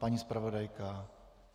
Paní zpravodajka?